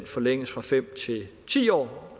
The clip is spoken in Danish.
forlænges fra fem år til ti år